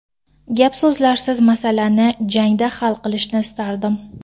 Gap-so‘zlarsiz masalani jangda hal qilishni istardim.